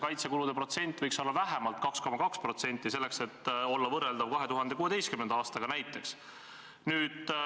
Kaitsekulude osakaal võiks olla vähemalt 2,2% SKP-st, siis oleks see võrreldav näiteks 2016. aastaga.